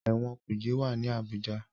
Ẹ̀wọ̀n kuje wá ní Abuja.